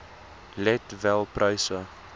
let wel pryse